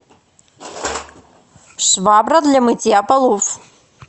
швабра для мытья полов